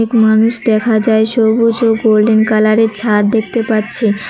মানুষ দেখা যায় সবুজ ও গোল্ডেন কালারের ছাদ দেখতে পাচ্ছি।